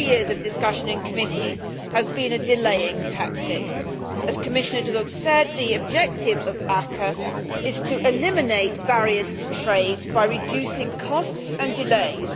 Two years of discussion in committee has been a delaying tactic. As Commissioner De Gucht said, the objective of the ACAA is to eliminate barriers to trade by reducing costs and delays.